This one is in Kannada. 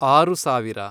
ಆರು ಸಾವಿರ